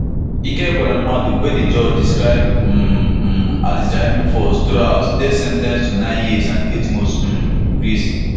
ike ekweremadu wey di judge describe um um as di driving force throughout dey sen ten ced to nine years and eight months um in prison